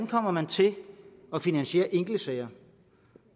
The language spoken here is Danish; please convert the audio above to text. kommer til at finansiere enkeltsager